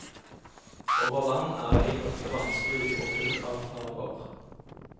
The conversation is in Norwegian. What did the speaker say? Over land er veien ofte vanskelig, og full av farer.